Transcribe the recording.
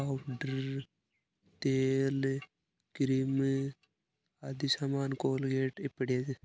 इधर तेल क्रीम आदि सामना कोलगेट ये पड़या--